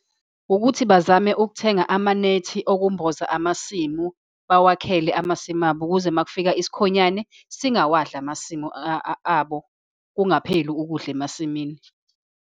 Ukuthi bazame ukuthenga amanethi okumboza amasimu. Bawakhele amasimu abo, ukuze uma kufika isikhonyane singawadli amasimu abo. Kungapheli ukudla emasimini.